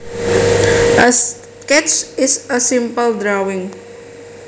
A sketch is a simple drawing